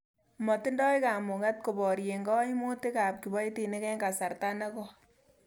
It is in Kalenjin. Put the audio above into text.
Matindoi kamuget koborien koimutik ab kiboitinik en kasarta nekoi.